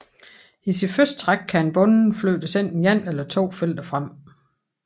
I sit første træk kan en bonde flyttes enten ét eller to felter frem